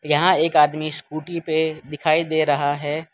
यहां एक आदमी स्कूटी पे दिखाई दे रहा है।